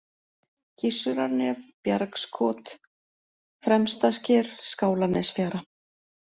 Gissurarnef, Bjargsskot, Fremstasker, Skálanesfjara